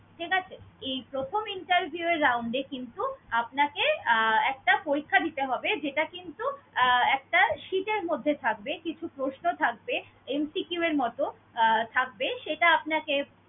ঠিক আছে? এই প্রথম interview এর round এ কিন্তু আপনাকে আহ একটা পরীক্ষা দিতে হবে যেটা কিন্তু আহ একটা sheet এর মধ্যে থাকবে, কিছু প্রশ্ন থাকবে। MCQ এর মত, আহ থাকবে, সেটা আপনাকে